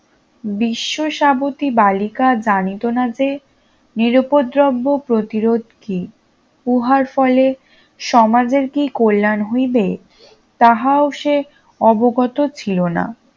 বিশ্ব সাবতি বালিকা জানিত না যে নিরুপদ্রব্য প্রতিরোধ কি উহার ফলে সমাজের কি কল্যান হইবে তাহাও সে অবগত ছিলনা